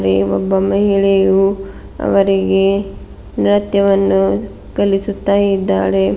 ಒಬ್ಬ ಮಹಿಳೆಯು ಅವರಿಗೆ ನೃತ್ಯವನ್ನು ಕಲಿಸುತ್ತಾ ಇದ್ದಾಳೆ.